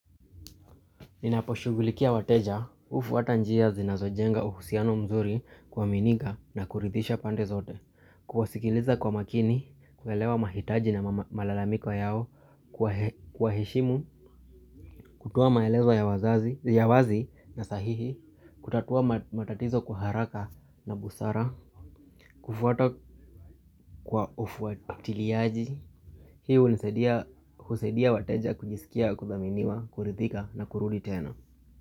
Ninaposhughulikia wateja hufuata njia zinazojenga uhusiano mzuri kuaminika na kuridhisha pande zote. Kuwasikiliza kwa makini, kuelewa mahitaji na malalamiko yao. Kuwaheshimu, kutoa maelezo ya wazi na sahihi. Kutatua matatizo kwa haraka na busara. Kufuata kwa ufuatiliaji. Hii hunisaidia husaidia wateja kujisikia, kuthaminiwa, kuridhika na kurudi tena.